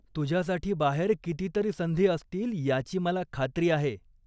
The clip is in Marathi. तुझ्यासाठी बाहेर कितीतरी संधी असतील याची मला खात्री आहे.